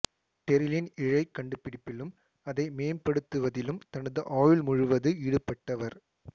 Terylene இழை கண்டுபிடிப்பிலும் அதை மேம்படுத்துவதிலும் தனது ஆயுள் முழுவது ஈடுபட்டவர்